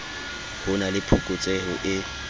ho na le phokotseho e